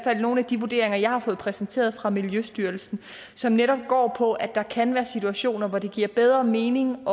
nogle af de vurderinger jeg har fået præsenteret fra miljøstyrelsen som netop går på at der kan være situationer hvor det giver bedre mening